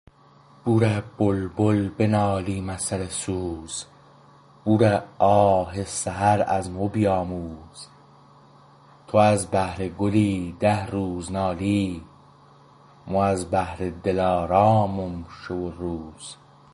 بوره بلبل بنالیم از سر سوز بوره آه سحر از مو بیاموز تو از بهر گلی ده روز نالی مو از بهر دل آرامم شو و روز